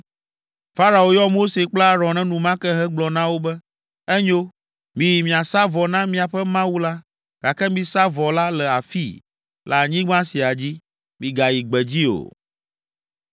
Farao yɔ Mose kple Aron enumake hegblɔ na wo be, “Enyo; miyi miasa vɔ na miaƒe Mawu la, gake misa vɔ la le afii, le anyigba sia dzi, migayi gbedzi o.”